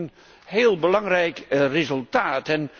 Dat vind ik een heel belangrijk resultaat.